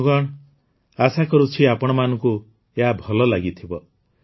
ବନ୍ଧୁଗଣ ଆଶା କରୁଛି ଆପଣମାନଙ୍କୁ ଏହା ଭଲ ଲାଗିଥିବ